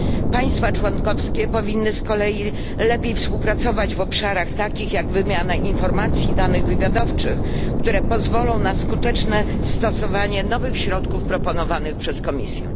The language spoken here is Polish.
Państwa członkowskie powinny z kolei lepiej współpracować w obszarach takich jak wymiana informacji i danych wywiadowczych, co pozwoli na skuteczne stosowanie nowych środków proponowanych przez Komisję.